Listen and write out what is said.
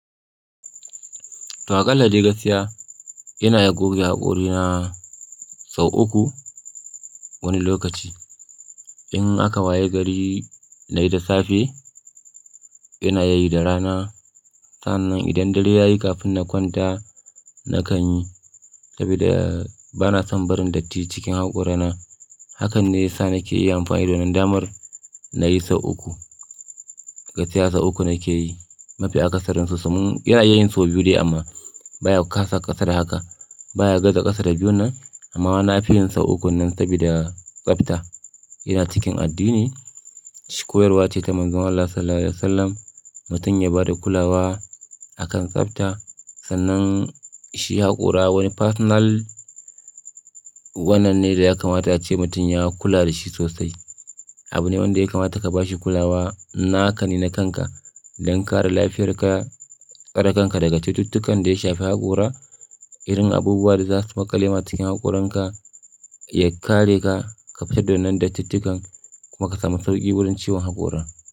To aƙalla dai gaskiya ina iya goge haƙori na sau uku wani lokaci. In aka waye gari na yi da safe, ina yi da rana, sannan idan dare ya yi kafin na kwanta na kan yi sabida bana son barin datti cikin haƙorina. Hakan ne ya sa nake iya amfani da wannan damar na yi sau uku. Gaskiya sau uku nake yi, mafi a ƙasarinsu su iya iyayin sau biyu dai amma baya kasa ƙasa da haka baya Gaza ƙasa da biyu nan amma wana fi yin sau uku nan saboda tsafta. Iya cikin addini sh koyarwa ce ta manzon Allah Sallallahu Alaihi Wasallam mutum ya ba da kulawa a kan tsafta, sannan shi haƙora wani personal wannan ne da ya kamata ace mutum ya kula da shi sosai. Abu ne wanda ya kamata ka ba shi kulawa na haka ne na kanka don kare lafiyar ka, kare kanka daga cututtukan da ya shafi haƙora, irin abubuwa da za su makale ma cikin haƙoranka, ya kare ka ka fita da wannan dattittukan kuma ka samu sauƙi wurin ciwon haƙora.